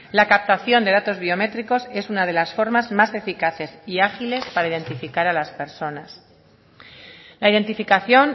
la captación de datos biométricos es una de las formas más eficaces y ágiles para identificar a las personas la identificación